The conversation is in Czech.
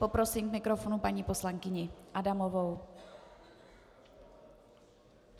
Poprosím k mikrofonu paní poslankyni Adamovou.